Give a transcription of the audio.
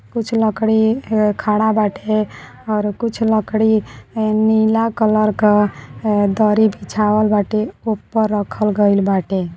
कुछ लड़की ह खड़ा बाटे और कुछ लड़की नीला कलर का ए दरी बिछावल बाटे ऊपर रखल गईल बाटे--